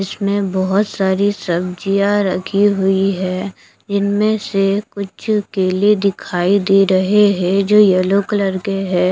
इसमें बहुत सारी सब्जियां रखी हुई है इनमें से कुछ केले दिखाई दे रहे हैं जो कि येलो कलर के है।